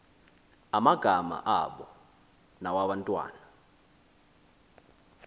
amagama abo nawabantwana